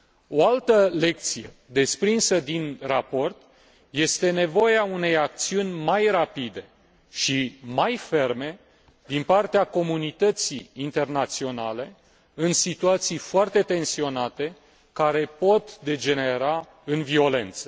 O altă lecție desprinsă din raport este nevoia unei acțiuni mai rapide și mai ferme din partea comunității internaționale în situații foarte tensionate care pot degenera în violență.